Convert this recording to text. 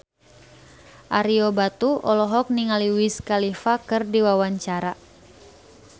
Ario Batu olohok ningali Wiz Khalifa keur diwawancara